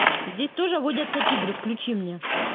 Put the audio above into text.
здесь тоже водятся тигры включи мне